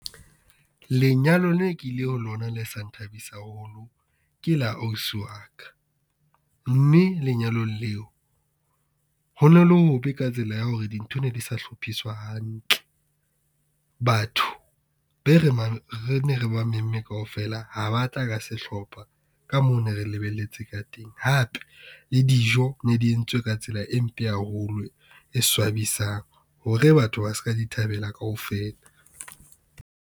Lenyalo ne kile ho lona le sa nthabisa haholo, ke la ausi wa ka. Mme lenyalong leo ho no le hobe ka tsela ya hore dintho di ne di sa hlophiswa hantle. Batho be ne re ba memme kaofela ha ba tla ka sehlopha, ka moo ne re lebelletse ka teng. Hape le dijo ne di entswe ka tsela e mpe haholo, e swabisang hore batho ba ska di thabela kaofela.